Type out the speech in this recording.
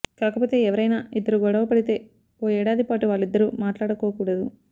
కాకపోతే ఎవరైనా ఇద్దరు గొడవ పడితే ఓ ఏడాది పాటు వాళ్ళిద్దరూ మాట్లాడుకోకూడదు